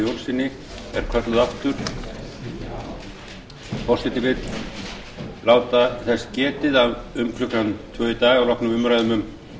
sextugustu og áttunda mál á þingskjali sex hundruð og tíu frá birki jóni jónssyni er kölluð aftur